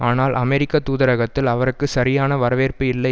ஆனால் அமெரிக்க தூதரகத்தில் அவருக்கு சரியான வரவேற்பு இல்லை